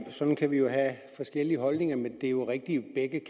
sådan kan vi jo have forskellige holdninger det er rigtigt at